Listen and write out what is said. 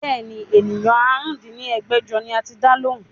Bẹ́ẹ̀ni, ènìyàn àrún dín ní ẹgbẹ́jọ ni a ti dá lóhùn